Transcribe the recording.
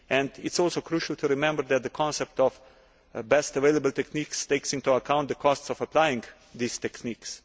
It is also crucial to remember that the concept of best available techniques takes into account the costs of applying these techniques.